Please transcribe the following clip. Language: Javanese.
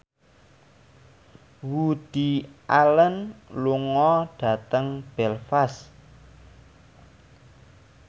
Woody Allen lunga dhateng Belfast